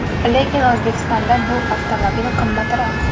Lekin O‘zbekistonda bu avtomobil qimmatroq.